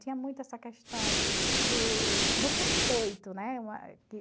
Tinha muito essa questão do do respeito, né?